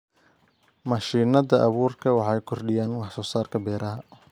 Mashiinada abuurku waxay kordhiyaan wax soo saarka beeraha.